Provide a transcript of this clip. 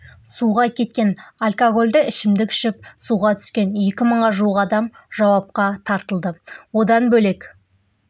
суға кеткен алкогольді ішімдік ішіп суға түскен екі мыңға жуық адам жауапқа тартылды одан бөлек